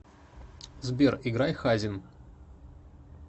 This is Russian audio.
сбер играй хазин